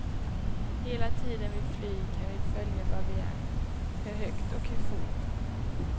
Hela tiden vi flyger kan vi följa var vi är, hur högt och hur fort.